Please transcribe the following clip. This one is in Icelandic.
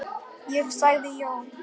Já, sagði Jóhann.